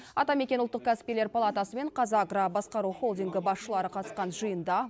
атамекен ұлттық кәсіпкерлер палатасы мен қазагро басқару холдингі басшылары қатысқан жиында